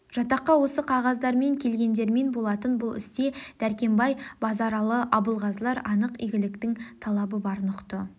жатаққа осы қзғаздармен келген дермен болатын бұл істе дәркембай базаралы абылғазылар анық игіліктің талабы барын ұқты